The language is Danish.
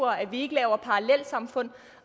at vi ikke laver parallelsamfund